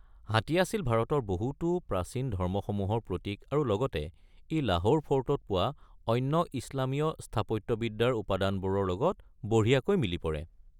হাতী আছিল ভাৰতৰ বহুতো প্ৰাচীন ধৰ্মসমূহৰ প্ৰতীক আৰু লগতে ই লাহোৰ ফ'ৰ্টত পোৱা অন্য ইছলামীয় স্থাপত্যবিদ্যাৰ উপাদানবোৰৰ লগত বঢ়িয়াকৈ মিলি পৰে।